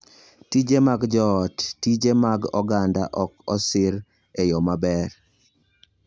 Tije mag Joot: Tije mag oganda ok oseriw e yo maber.